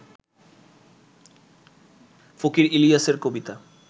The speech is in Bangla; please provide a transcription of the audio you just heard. ফকির ইলিয়াসের কবিতা